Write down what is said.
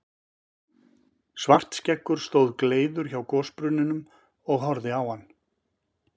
Svartskeggur stóð gleiður hjá gosbrunninum og horfði á hann.